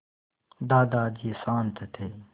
दादाजी शान्त थे